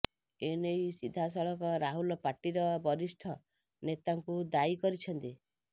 ଏନେଇ ସିଧାସଳଖ ରାହୁଲ ପାର୍ଟିର ବରିଷ୍ଠ ନେତାଙ୍କୁ ଦାୟି କରିଛନ୍ତି